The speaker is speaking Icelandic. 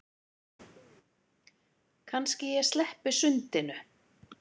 Kannski ég sleppi sundinu.